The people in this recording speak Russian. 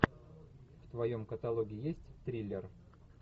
в твоем каталоге есть триллер